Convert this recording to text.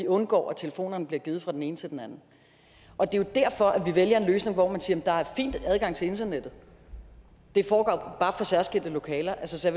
undgå at telefonerne bliver givet fra den ene til den anden og det er jo derfor vi vælger en løsning hvor man siger der er fin adgang til internettet det foregår bare særskilte lokaler så